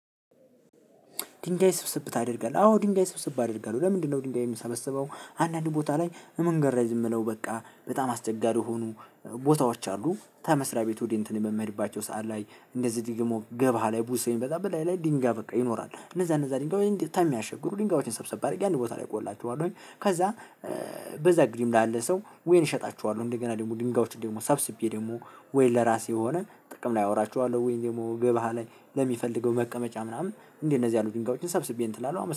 ድንጋይ ስብስብ ታደርጋለህ? አዎ ድንጋይ ስብስብ አደርጋለሁ። ለምንድነው ድንጋይ ሚሰበሰበው? አንዳንድ ቦታ ላይ መንገድ ረዥም ነው በቃ፤ በጣም አስቸጋሪ የሆኑ ቦታዎች አሉ ተመስሪያ ቤት ወደ እንትን የምሄድባቸው ሰዓት ላይ፤ እንደዚህ ደግሞ ገባ ያለ ብዙ ሰው ሚመጣበት ቦታ ላይ ድንጋይ በቃ ይኖራል። እነዛ እነዛ ድንጋዮች ምያስቸግሩ ድንጋዮችን ሰብሰብ አድርጌ አንድ ቦታ እቆልላቸውኝ አይደል ከዛ በዛ ግድም ላለ ሰው ወይ እሸጣችኋለሁ እንደገና ደግሞ ድንጋዮችን ደግሞ ሰብስቤ ደግሞ ወይ ለራሴ የሆነ ጥቅም ላይ አዉላቸዋለሁ። ወይም ደግሞ ገበያ ላይ ለሚፈልገው መቀመጫ ምናምን እንዴ እነዚህ ያሉት ድንጋዮችን ሰብስቤ እንትን እላለሁ። አመሰናለው።